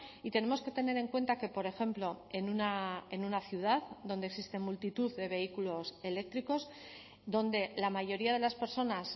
y tenemos que tener en cuenta que por ejemplo en una ciudad donde existen multitud de vehículos eléctricos donde la mayoría de las personas